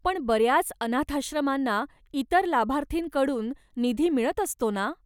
पण बऱ्याच अनाथाश्रमांना इतर लाभार्थींकडून निधी मिळत असतो ना ?